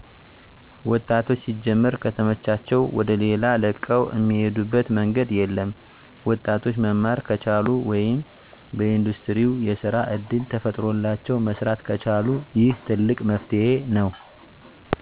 ወጣቶች ሲጀመር ከተመቻቸላዉ ወደሌላ ለቀዉ እሚሄዱበት መንገድ የለም። ወጣቶች መማር ከቻሉ ወይም በኢንዱስትሪው የስራ እድል ተፈጥሮላቸው መስራት ከቻሉ ይህ ትልቅ መፍትሄ ነው።